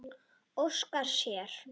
Óska sér.